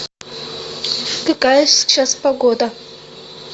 какая сейчас погода